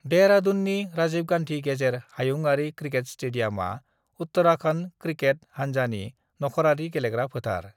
देहरादूननि राजीव गांधी गेजेर हायुंयारि क्रिकेट स्टेडियमआ उत्तराखंड क्रिकेट हानजानि नख'रारि गेलेग्रा फोथार।